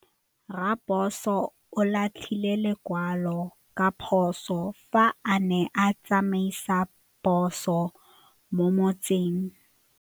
Raposo o latlhie lekwalô ka phosô fa a ne a tsamaisa poso mo motseng.